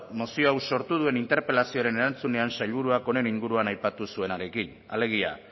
mozio hau sortu duen interpelazioaren erantzunean sailburuak honen inguruan aipatu zuenarekin alegia